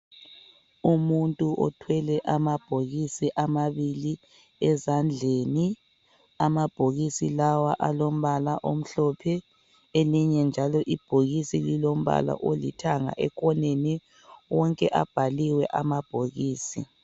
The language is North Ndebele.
Umuntu othwele amabhokisi amabili ezandleni. Amabhokisi lawa alombala omhlophe elinye njalo ibhokisi lilombala olithanga ekhoneni. Wonke abhaliwe amabhokisi.